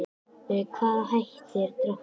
Með hvaða hætti er drátturinn?